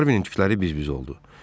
Harvinin tükləri biz-biz oldu.